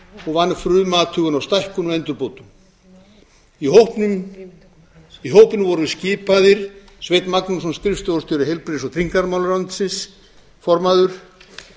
og vann frumathugun á stækkun og endurbótum í hópinn voru skipaðir sveinn magnússon skrifstofustjóri í heilbrigðis og tryggingamálaráðuneyti formaður